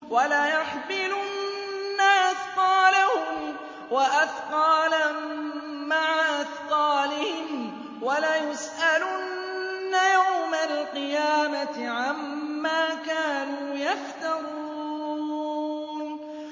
وَلَيَحْمِلُنَّ أَثْقَالَهُمْ وَأَثْقَالًا مَّعَ أَثْقَالِهِمْ ۖ وَلَيُسْأَلُنَّ يَوْمَ الْقِيَامَةِ عَمَّا كَانُوا يَفْتَرُونَ